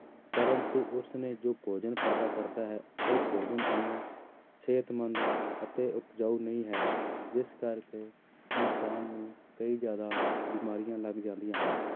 ਪਰੰਤੂ ਉਸਨੇ ਜੋ ਭੋਜਨ ਪੈਦਾ ਕਰਦਾ ਹੈ ਉਹ ਭੋਜਨ ਓਨਾ ਸਿਹਤਮੰਦ ਅਤੇ ਉਪਜਾਊ ਨਹੀਂ ਹੈ ਜਿਸ ਕਰਕੇ ਇਨਸਾਨ ਨੂੰ ਕਈ ਜ਼ਿਆਦਾ ਬਿਮਾਰੀਆਂ ਲੱਗ ਜਾਂਦੀਆਂ ਹਨ